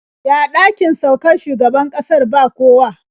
Ya ɗakin saukar shugaban ƙasar ba kowa?